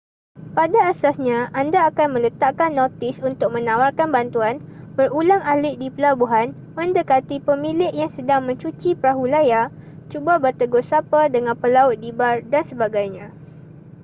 pada asasnya anda akan meletakkan notis untuk menawarkan bantuan berulang-alik di pelabuhan mendekati pemilik yang sedang mencuci perahu layar cuba bertegur sapa dengan pelaut di bar dsb